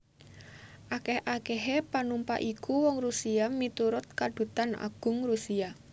Akèh akèhé panumpak iku wong Rusia miturut Kadutan Agung Rusia